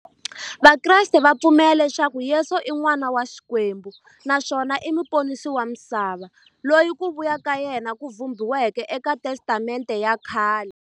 Vakreste va pfumela leswaku Yesu i n'wana wa Xikwembu naswona i muponisi wa misava, loyi ku vuya ka yena ku vhumbiweke e ka Testamente ya khale.